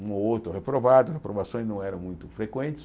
Um ou outro reprovado, reprovações não eram muito frequentes.